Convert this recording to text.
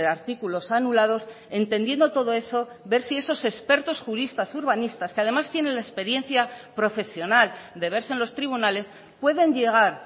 artículos anulados entendiendo todo eso ver si esos expertos juristas urbanistas que además tienen la experiencia profesional de verse en los tribunales pueden llegar